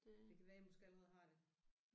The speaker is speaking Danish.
Det kan være jeg måske allerede har det